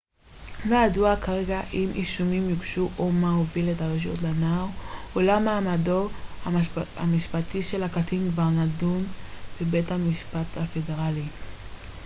לא ידוע כרגע אילו אישומים יוגשו או מה הוביל את הרשויות לנער אולם מעמדו המשפטי של הקטין כבר נדון בבית משפט פדרלי